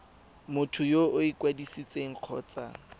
motho yo o ikwadisitseng kgotsa